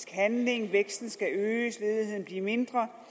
handling væksten skal øges ledigheden blive mindre